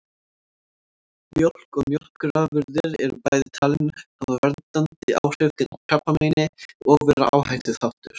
Mjólk og mjólkurafurðir eru bæði talin hafa verndandi áhrif gegn krabbameini og vera áhættuþáttur.